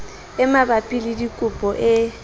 e mabapi le dikopo e